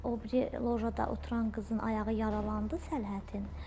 O biri lojada oturan qızın ayağı yaralandı səhhətin.